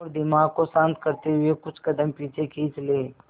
और दिमाग को शांत करते हुए कुछ कदम पीछे खींच लें